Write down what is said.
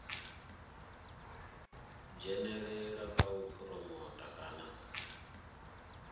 dzhenelela kha u phuromotha kana